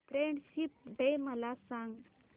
friendship day मला सांग